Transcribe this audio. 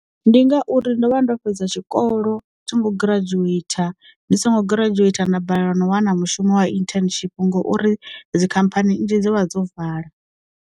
Ndi ngauri ndo vha ndo fhedza tshikolo, tho ngo giradzhueitha u ndi songo giradzhueithau nda balelwa no wana mushumo wa internship ngouri dzi khamphani nnzhi dzo vha dzo vala.